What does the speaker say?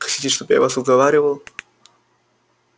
хотите чтобы я вас уговаривал